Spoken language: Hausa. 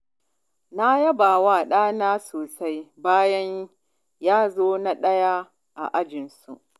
Na yaba wa ɗana sosai bayan ya zo na ɗaya a ajinsu.